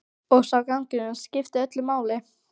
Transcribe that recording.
Og sá gangur skiptir öllu máli.